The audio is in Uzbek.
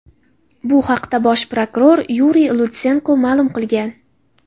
Bu haqda bosh prokuror Yuriy Lutsenko ma’lum qilgan.